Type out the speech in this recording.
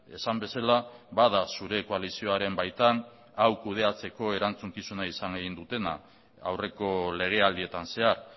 esan bezala bada zure koalizioaren baitan hau kudeatzeko erantzukizuna izan egin dutena aurreko legealdietan zehar